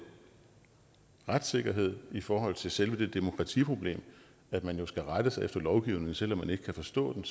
retssikkerhed i forhold til selve det demokratiproblem at man jo skal rette sig efter lovgivningen selv om man ikke kan forstå den